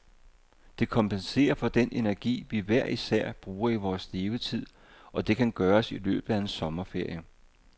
Det kompenserer for den energi, vi hver især bruger i vores levetid, og det kan gøres i løbet af en sommerferie.